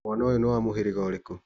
Mwana ũyũ nĩ wa mũhĩrĩga ũrĩkũ.